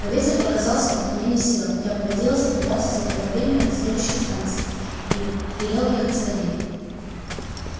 но ветер показался мне не силён я понадеялся добраться заблаговременно до следующей станции и велел ехать скорее